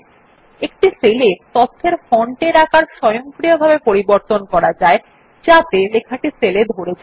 একটি সেল এ তথ্যের ফন্টের আকার স্বয়ংক্রিয়ভাবে পরিবর্তন করা যায় যাতে লেখাটি সেলে ধরে যায়